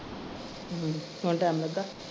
ਹੁਣ time ਲੱਗਾ।